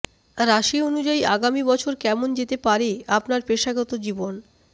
রাশি অনুযায়ী আগামী বছর কেমন যেতে পারে আপনার পেশাগত জীবন